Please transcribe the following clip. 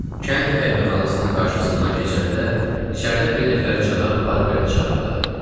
Kənd qəhvəxanasının qarşısından keçəndə içəridən bir nəfər cənab Barbeini çağırdı.